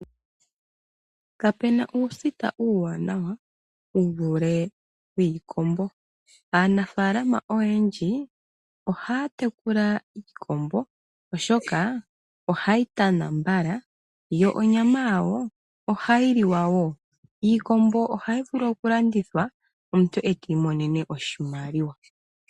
Kapu na uusita uuwaanawa wu vule wiikombo. Aanafaalama oyendji ohaa tekula iikombo oshoka ohayi tana mbala yo onyama yawo ohayi liwa woo. Iikombo ohayi vulu okulandithwa po omuntu ti imonene oshimaliwa.